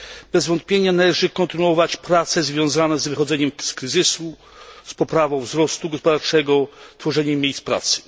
Bez wątpienia należy kontynuować prace związane z wychodzeniem z kryzysu, z poprawą wzrostu gospodarczego, tworzeniem miejsc pracy.